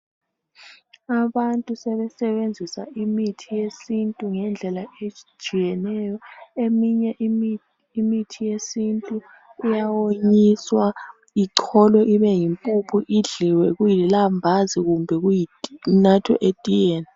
Abantu sebesenzisa imithi yesintu ngendlela ezihlukeneyo eminye imithi yesintu iyawonyiswa ichlolwe ibe yimpuphu idliwe kulilambazi kumbe inathwe letiyeni.